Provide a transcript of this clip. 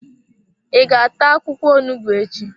I ga-ata akwụkwọ onugbu echi?